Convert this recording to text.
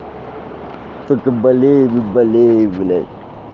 только болею и болею блять